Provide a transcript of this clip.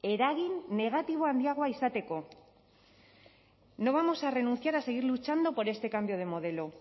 eragin negatibo handiagoa izateko no vamos a renunciar a seguir luchando por este cambio de modelo